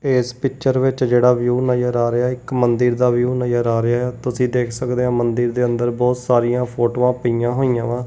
ਤੇ ਇਸ ਪਿੱਚਰ ਵਿੱਚ ਜਿਹੜਾ ਵਿਊ ਨਜ਼ਰ ਆ ਰਿਹਾ ਹੈ ਇੱਕ ਮੰਦਿਰ ਦਾ ਵਿਊ ਨਜ਼ਰ ਆ ਰਿਹਾ ਹੈ ਤੁਸੀਂ ਦੇਖ ਸਕਦੇ ਆ ਮੰਦਿਰ ਦੇ ਅੰਦਰ ਬਹੁਤ ਸਾਰੀਆਂ ਫੋਟੋਆਂ ਪਈਆਂ ਹੋਈਆਂ ਵਾ।